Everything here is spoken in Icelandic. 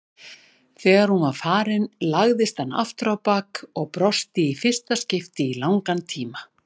Þegar hún var farin lagðist hann afturábak og brosti í fyrsta skipti í langan tíma.